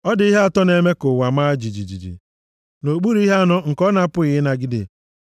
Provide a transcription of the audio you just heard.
“Ọ dị ihe atọ na-eme ka ụwa maa jijiji, nʼokpuru ihe anọ nke ọ na-apụghị ịnagide,